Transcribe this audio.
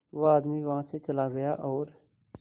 वो आदमी वहां से चला गया और